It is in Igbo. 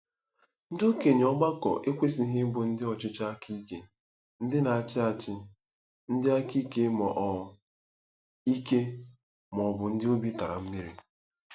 Ndị okenye ọgbakọ ekwesịghị ịbụ ndị ọchịchị aka ike, ndị na-achị achị, ndị aka ike, ma ọ ike, ma ọ bụ ndị obi tara mmiri.